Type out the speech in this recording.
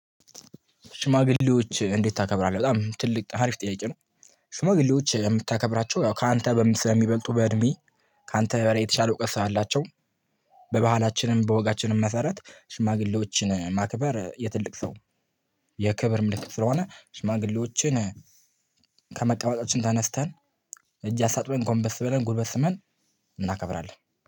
ሽማግሌዎች እንዴት? ታከብራለህ በጣም ትልቅ አሪፍ ጥያቄ ነው። ሽማግሌዎች የምታከብራቸው ያው ካንተ ስለሚበልጡ በእድሜ ካንተ የተሻለ እውቀት አላቸው። በባህላችንም በወጋችንም መሰረት ሽማግሌዎችን ማክበር የትልቅ ሰው የክብር ምልክት ስለሆነ ሽማግሌዎችን ከመቀመጫችን ተነስተን እጅ አሳጥበን ጎምበስ በለን ጉልበስ ስመን እናከብራለን